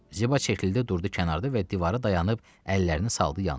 Ziba çəkildi durdu kənarda və divara dayanıb əllərini saldı yanına.